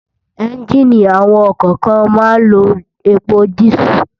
Ènjiní awòn òkò kán má n n ló épó dìsú